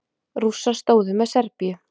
Rússar stóðu með Serbíu.